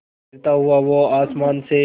गिरता हुआ वो आसमां से